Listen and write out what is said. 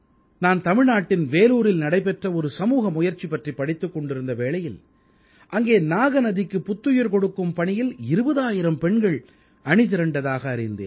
நான் தமிழ்நாட்டின் வேலூரில் நடைபெற்ற ஒரு சமூக முயற்சி பற்றிப் படித்துக் கொண்டிருந்த வேளையில் அங்கே நாக நதிக்கு புத்துயிர் கொடுக்கும் பணியில் 20000 பெண்கள் அணிதிரண்டதாக அறிந்தேன்